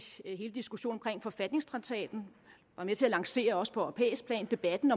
hele diskussionen om forfatningstraktaten var med til at lancere også på europæisk plan debatten